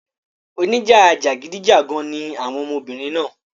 Oníjà jàgídíjàgan ni àwọn ọmọbìnrin náà.